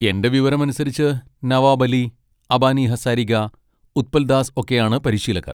എൻ്റെ വിവരം അനുസരിച്ച് നവാബ് അലി, അബാനി ഹസാരിക, ഉത്പൽ ദാസ് ഒക്കെയാണ് പരിശീലകർ.